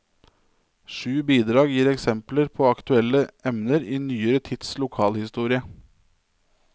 Sju bidrag gir eksempler på aktuelle emner i nyere tids lokalhistorie.